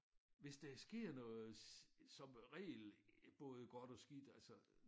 Hvis der sker noget som regel både godt og skidt altså